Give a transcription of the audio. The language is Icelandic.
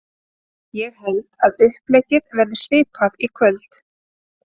Ég held að uppleggið verði svipað í kvöld.